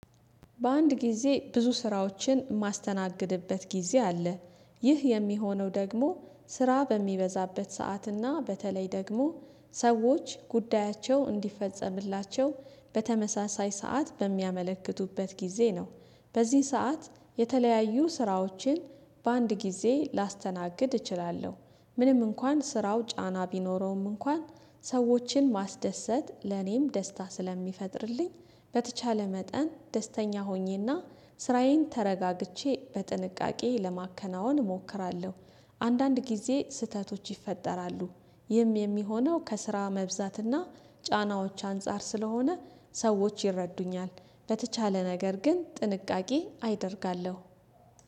በአንድ ጊዜ ብዙ ስራዎችን የማስተናግድበት ጊዜ አለ ይህ የሚሆነው ደግሞ ስራ በሚበዛበት ሰዓትና በተለይ ደግሞ ሰዎች ጉዳያቸው እንዲፈጸምላቸው በተመሳሳይ ሰዓት በሚያመለክቱበት ጊዜ ነው። በዚህ ሰዓት የተለያዩ ስራዎችን በአንድ ጊዜ ላስተናግድ እችላለሁ። ምንም እንኳን ስራው ጫና ቢኖረውም እንኳን ሰዎችን ማስደሰት ለኔም ደስታ ስለሚፈጥርልኝ በተቻለ መጠን ደስተኛ ሆኜና ስራዬን ተረጋግቼ በጥንቃቄ ለማከናወን እሞክራለሁ። አንዳንድ ጊዜ ስህተቶች ይፈጠራሉ። ይህም የሚሆነው ከስራ መብዛትና ጫናዎች አንፃር ስለሆነ ሰዎች ይረዱኛል። በተቻለ ነገር ግን ጥንቃቄ አይደርጋለሁ።